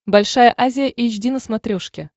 большая азия эйч ди на смотрешке